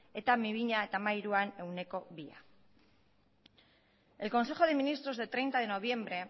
eta bi mila hamairuan ehuneko bia el consejo de ministros de treinta de noviembre